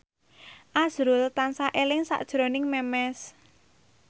azrul tansah eling sakjroning Memes